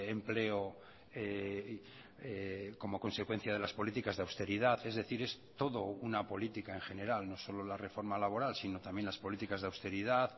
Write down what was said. empleo como consecuencia de las políticas de austeridad es decir es todo una política en general no solo la reforma laboral sino también las políticas de austeridad